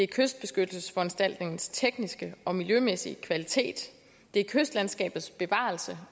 kystbeskyttelsesforanstaltningens tekniske og miljømæssige kvalitet kystlandskabets bevarelse